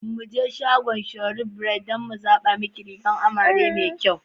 Zo muje shagon Sharon Bridals dan mu tsaba muke rigar amare mai kyau.